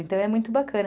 Então, é muito bacana.